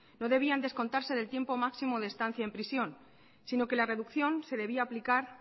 no debían descontarse del tiempo máximo de estancia en prisión sino que la reducción se debería aplicar